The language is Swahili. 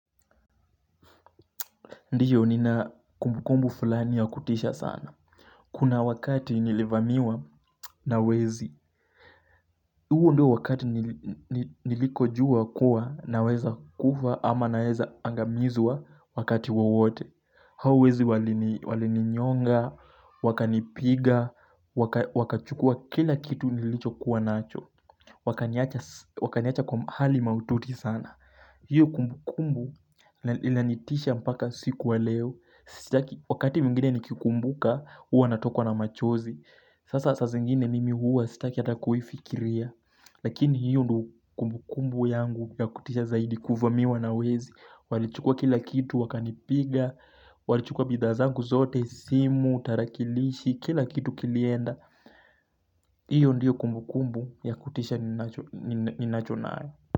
Ndio nina kumbukumbu fulani ya kutisha sana. Kuna wakati nilivamiwa na wezi. Huo ndio wakati nilipojua kuwa naweza kufa ama naweza angamizwa wakati wowote. Hao wezi walininyonga, wakanipiga, wakachukua kila kitu nilichokuwa nacho. Wakaniacha kwa hali maututi sana. Hiyo kumbukumbu inanitisha mpaka siku ya leo. Wakati mwingine nikikumbuka huwa natokwa na machozi sasa saa zingine mimi huwa sitaki hata kuifikiria lakini ndiyo kumbukumbu yangu ya kutisha zaidi kuvamiwa na wezi walichukua kila kitu wakanipiga walichukua bidhaa zangu zote simu, tarakilishi kila kitu kilienda hiyo ndiyo kumbukumbu ya kutisha ninayo.